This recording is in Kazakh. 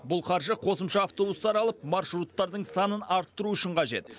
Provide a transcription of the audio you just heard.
бұл қаржы қосымша автобустар алып маршруттардың санын арттыру үшін қажет